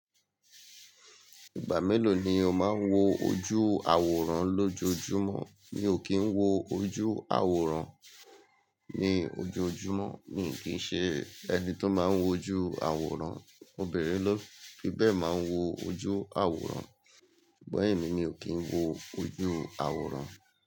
Ìgbà mélòó ni o máa ń wo ojú àwòrán lójoojúmọ́? Mi ò kí ń wo ojú àwòrán ní ojoojúmọ́. Mi i kín ń ṣe ẹni tó máa ń wo ojú àwòrán. Obìnrin ló fi bẹ́ẹ̀ máa ń wo ojú àwòrán, sugbon emi, mi ò kí ń wo ojú àwòrán.